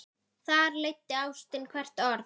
Þar leiddi ástin hvert orð.